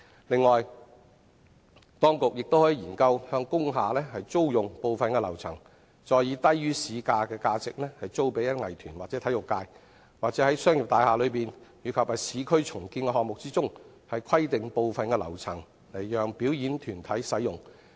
此外，當局亦可研究向工廈租用部分樓層，再以低於市價的價值租予藝團或體育界，或者在商業大廈內及市區重建項目中，規定部分樓層讓表演團體使用。